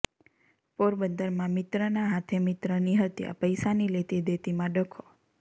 પોરબંદરમાં મિત્રના હાથે મિત્રની હત્યાઃ પૈસાની લેતી દેતીમાં ડખ્ખો